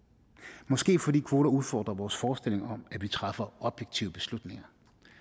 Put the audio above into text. måske er det fordi kvoter udfordrer vores forestilling om at vi træffer objektive beslutninger